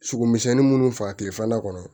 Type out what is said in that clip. Sogo misɛnnin munnu faga tile fana kɔnɔ